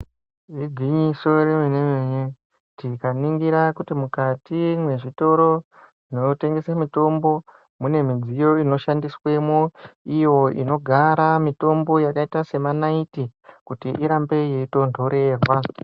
Igwinyiso remene-mene, tikaningira kuti mukati mezvitora zvinotengese mitombo mune midziyo ino shandiswemo, iyo inogara mitombo yakaita senaiti kuti irambe yeitonhorerwa.